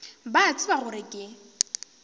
ba a tseba gore ke